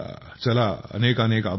चला अनेकानेक आभार